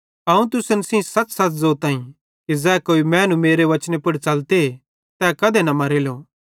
अवं तुसन सेइं सच़सच़ ज़ोताईं कि ज़ै कोई मैनू मेरे वचने पुड़ च़ले तै कधे न मरेलो